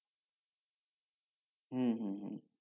হম হম হম